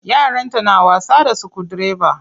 Yaranta na wasa da sukudireba.